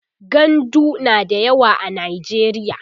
gandu na da yawa a najeriya